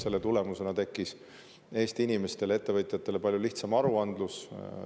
Selle tulemusena tekkis Eesti inimestele, ettevõtjatele palju lihtsam aruandlus.